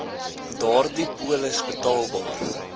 daardie polis betaalbaar